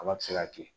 Kaba bi se ka kɛ